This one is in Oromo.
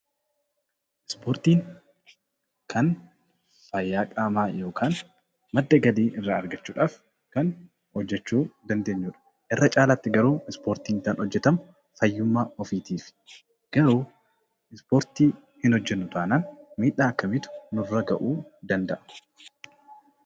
Ispoortiin kan fayyaa qaamaa yookiin madda galii irraa argachuudhaaf kan hojjechuu dandeenyudha. Irra caalaatti garuu Ispoortiin kan hojjetamu fayyummaa ofiitiifi. Garuu Ispoortii hin hojjennu taanaan miidhaa akkamiitu nurra ga'uu danda'a?